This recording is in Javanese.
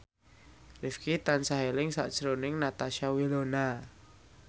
Rifqi tansah eling sakjroning Natasha Wilona